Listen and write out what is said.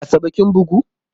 Asabe kin bugu?